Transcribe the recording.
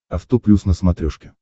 авто плюс на смотрешке